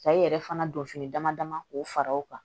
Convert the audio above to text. Ka i yɛrɛ fana don fini dama dama k'o fara o kan